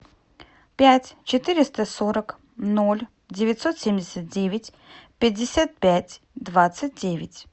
пять четыреста сорок ноль девятьсот семьдесят девять пятьдесят пять двадцать девять